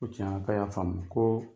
Ko tiɲɛna ka ya faamu ko